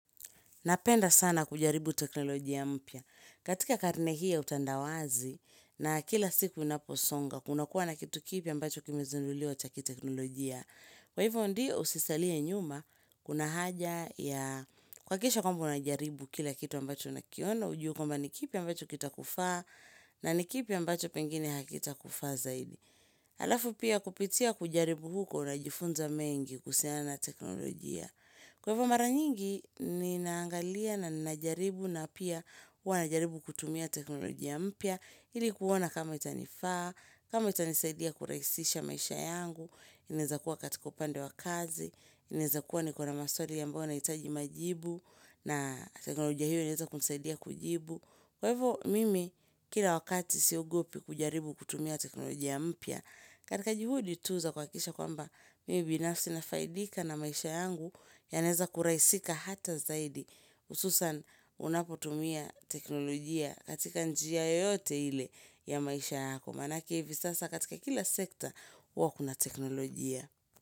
Napenda sana kujaribu teknolojia mpya. Katika karne hii ya utandawazi na kila siku inaposonga, kunakuwa na kitu kipi ambacho kimezunulio ataki teknolojia. Kwa hivyo ndio usisaliye nyuma, kuna haja ya kwa kisha kwamba unajaribu kila kitu ambacho unakiona, ujuhu kwamba ni kipi ambacho kita kufaa na ni kipi ambacho pengine hakita kufaa zaidi. Halafu pia kupitia kujaribu huko unajifunza mengi kusiana teknolojia. Kwa hivyo mara nyingi ni naangalia na nijaribu na pia kwa nijaribu kutumia teknolojia mpia hili kuona kama itanifaa, kama itanisaidia kuraisisha maisha yangu Inezakuwa katika upande wa kazi, inezakuwa nikona maswali yambawa naitaji majibu na teknolojia hio inezakunisaidia kujibu Kwa hivyo mimi kila wakati siogopi kujaribu kutumia teknolojia mpia katika juhudi tuza kwa kisha kwamba mibinafsi na faidika na maisha yangu yanaeza kuraisika hata zaidi ususan unapotumia teknolojia katika njia yote ile ya maisha yako. Manake hivi sasa katika kila sekta wakuna teknolojia.